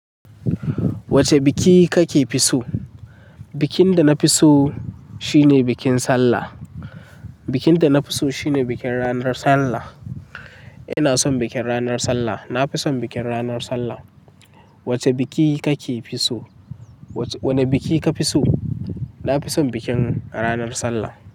Wace biki kake fi so? Bikin da na fi so shine bikin Sallah. Bikin da na fi so shine bikin ranar Sallah. Ina son bikin ranar Sallah. Na fi son bikin ranar Sallah. Wace biki kake fi so? Wane biki ka fi so? Na fi son bikin ranar Sallah.